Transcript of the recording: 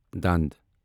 دند